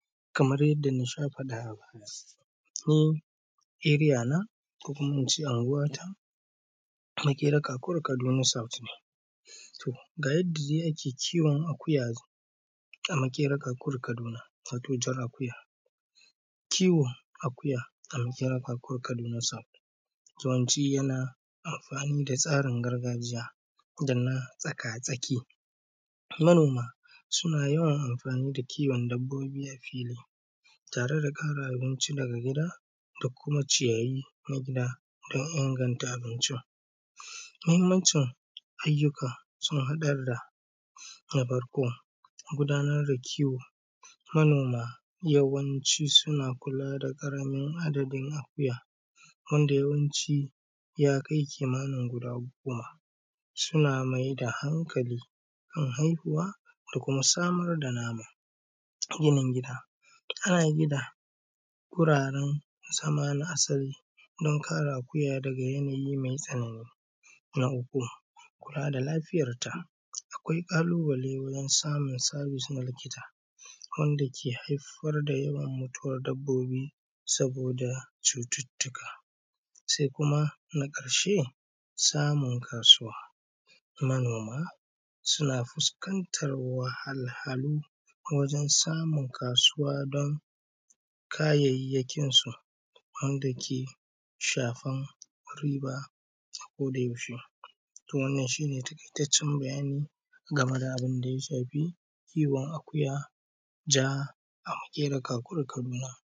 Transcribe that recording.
Kamar yadda na sha faɗa a baya, ni Eriyana, ko kuma in ce Anguwata, Maƙera Kakuri Kaduna South ne. To, ga yadda dai ake kiwon akuya, a Maƙera Kakuri Kaduna, wato jar akuya. Kiwon akuya a Maƙera Kakuri Kaduna South Zone D. yana amfani da tsarin gargajiya, da na tsakatsaki. Manoma, suna yawan amfani da kiwon dabbobi a fili, tare da ƙara abinci daga gida, da kuma ciyayi na gida don inganta abincin. Muhimmancin ayyuka, sun haɗar da, na farko, gudanar da kiwo. Manoma yawanci suna kula da ƙaramin adadin akuya, wanda yawanci, ya kai kimanin guda goma. Suna mai da hankali kan haihuwa da kuma samar da nama. Yanayin gida. Yanayin gida, guraren zama na asali don kare akuya daga yanayi mai tsanani. Na uku, kula da lafiyarta. Akwai ƙalubale wurin samun sabis na likita, wanda ke haifar da yawan mutuwar dabbobi, saboda cututtuka. Sai kuma na ƙarshe, samun kasuwa. Manoma suna fuskantar wahalhalu wajen samun kasuwa don kayayyakinsu, wanda ke shafar riba a kodayaushe. Wannan shi ne taƙaitaccen bayani game da abin da ya shafi kiwon akuya, ja, a Maƙera Kakuri Kaduna.